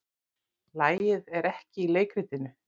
Lagið er ekki í leikritinu.